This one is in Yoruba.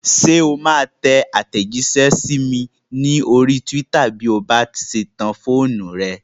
Ṣé o máa tẹ àtẹ̀jísẹ́ sí mi ní orí túwítà bí o bá ṣe tan fóònù rẹ?